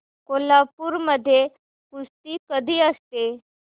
कोल्हापूर मध्ये कुस्ती कधी असते